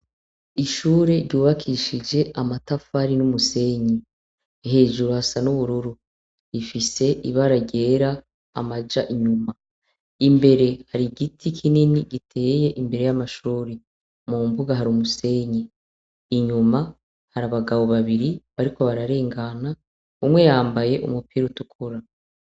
Ishure ryubakishije amatafari numusenyi hejuru hasa nubururu ifise ibara ryera amaja inyuma imbere hari igiti kinini giteye imbere yamashure hari umusenyi inyuma hari abagabo babiri bariko bararengana umwe yambaye umupira utukura